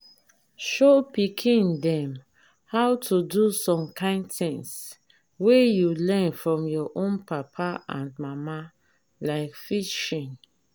show pikin dem how to do some kind things wey you learn from your own papa and mama like fishing